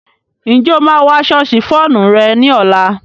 Ǹjẹ́ o máa wọ aṣọ ṣìfóònù rẹ ní ọ̀la?